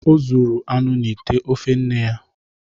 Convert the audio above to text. O zuru anụ n’ite ofe nne ya.